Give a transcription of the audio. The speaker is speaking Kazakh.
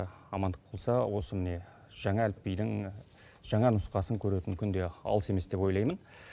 амандық болса осы міне жаңа әліпбидің жаңа нұсқасын көретін күн де алыс емес деп ойлаймын